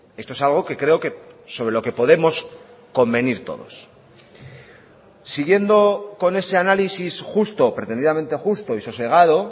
esto es algo que creo que sobre lo que podemos convenir todos siguiendo con ese análisis justo pretendidamente justo y sosegado